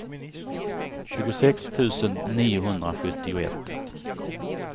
tjugosex tusen niohundrasjuttioett